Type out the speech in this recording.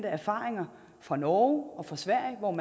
erfaringerne fra norge og sverige om